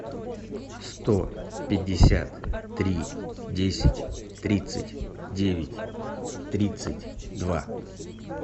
сто пятьдесят три десять тридцать девять тридцать два